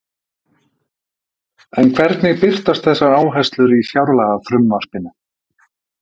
En hvernig birtast þessar áherslur í fjárlagafrumvarpinu?